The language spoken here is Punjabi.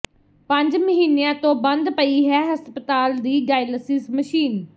ਪੰਜ ਮਹੀਨਿਆਂ ਤੋਂ ਬੰਦ ਪਈ ਹੈ ਹਸਪਤਾਲ ਦੀ ਡਾਇਲਸਿਸ ਮਸ਼ੀਨ